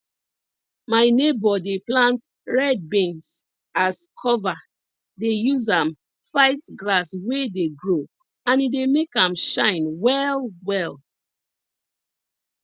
my neighbour dey plant red beans as cover dey use am fight grass wey dey grow and e dey make am shine well well